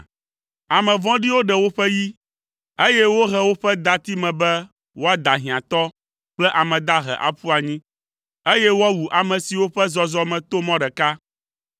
Ame vɔ̃ɖiwo ɖe woƒe yi, eye wohe woƒe dati me be woada hiãtɔ kple ame dahe aƒu anyi, eye woawu ame siwo ƒe zɔzɔme to mɔ ɖeka.